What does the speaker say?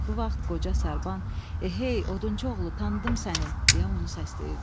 Bu vaxt qoca Sarban, "Ey, odunçuoğlu, tanıdım səni!" deyə onu səsləyirdi.